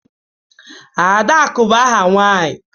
Adaku bu aha nwanyi.